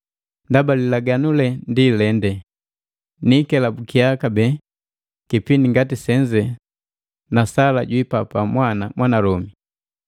Ndaba lilaganu le ndi lende, “Niikelabukia kabee kipindi ngati senze na Sala jwiipapa mwana mwanalomi.”